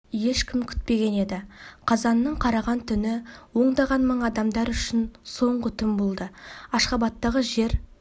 ешкім күтпеген еді қазанның қараған түні ондаған мың адамдар үшін соңғы түн болды ашхабадтағы жер